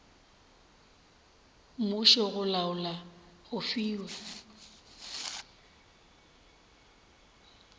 mmušo go laola go fiwa